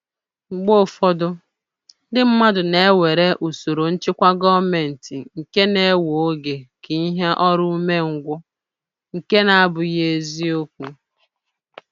Mgbe ụfọdụ, ndị mmadụ na-ewere usoro nchịkwa gọọmentị nke na-ewe oge ka ihe ọrụ ume ngwụ, nke nabụghị ezi okwu